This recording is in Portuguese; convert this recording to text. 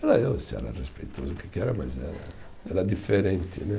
Se era respeitoso, o que que era, mas eh, era diferente, né?